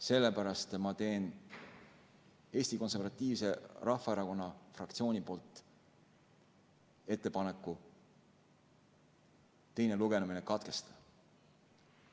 Sellepärast teen Eesti Konservatiivse Rahvaerakonna fraktsiooni nimel ettepaneku teine lugemine katkestada.